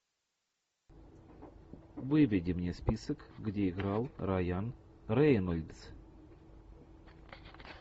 выведи мне список где играл райан рейнольдс